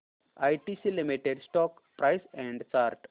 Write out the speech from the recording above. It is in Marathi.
ITC limited stock price and chart